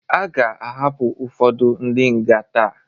Aga ahapụ ụfodu ndi nga taa